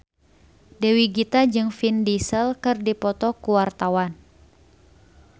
Dewi Gita jeung Vin Diesel keur dipoto ku wartawan